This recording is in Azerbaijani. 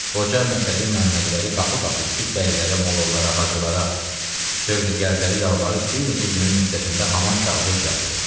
Qoca Məşədi Məmmədvəli qapı-qapı düşüb bəylərə, mollalara, hacılara, sövdəgərlərə yalvarıb bir neçə günün müddətində haman kağızı düzəltdi.